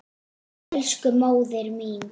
Elsku móðir mín.